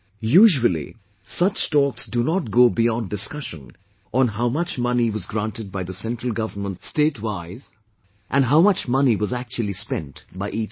Usually such talks do not go beyond discussion on how much money was granted by the Central Government statewise, and how much money was actually spent by each state